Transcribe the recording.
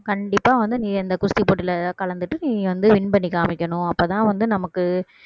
கண்டிப்பா வந்து நீ அந்த குஸ்தி போட்டியிலே கலந்துட்டு நீ வந்து win பண்ணி காமிக்கணும் அப்போதான் வந்து நமக்கு